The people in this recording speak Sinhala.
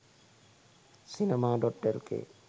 cinema.lk